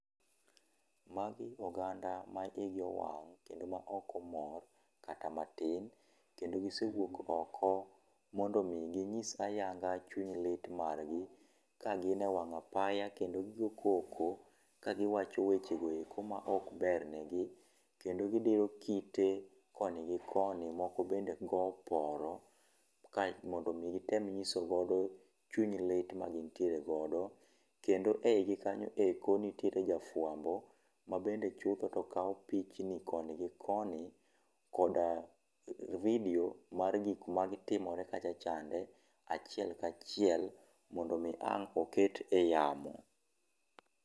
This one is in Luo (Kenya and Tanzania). Ma gi oganda ma hi gi owang' kendo ok mor kata matin kendo gi se wuok oko mondo mi gi ng'is ayadha chuny lit mar gi ,ka gi ne e wang apaya kendo gi go koko ka gi wacho weche go eko ma ok ber ne gi kendo gi diro kite koni gi koni moko be go oporo ka mondo mi gi tem ng'iso godo chuny lit ma gin tiere godo, kendo e higi kanyo eko bende nitie jafwambo ma bende chutho to kawo pichni koni gi koni koda video mar gi matimore kacha chande achiel ka achiel mondo mi ang' oket e yamo.